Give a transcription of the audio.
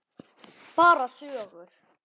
Bara sögur.